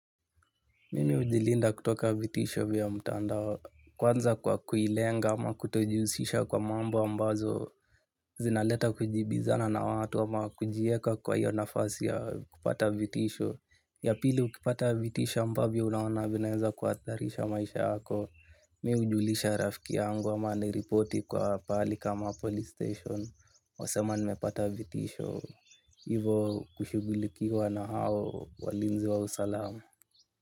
Mimi hujilinda kutoka vitisho vya mtandao kwanza kwa kuilenga ama kutojihusisha kwa mambo ambazo zinaleta kujibizana na watu ama kujieka kwa hiyo nafasi ya kupata vitisho. Yapili ukipata vitisho ambavyo unaona vinaweza kuhatarisha maisha yako. Mimi hujulisha rafiki yangu ama niripoti kwa pali kama police station. Wasema nimepata vitisho. Hivo kushugulikiwa na hao walinzi wa usalamu.